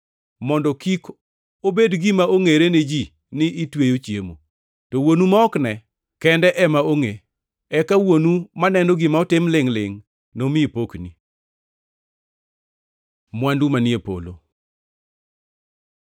mondo kik obed gima ongʼere ne ji ni itweyo chiemo, to Wuonu ma ok ne kende ema ongʼe. Eka Wuonu maneno gima otim lingʼ-lingʼ nomiyi pokni. Mwandu manie polo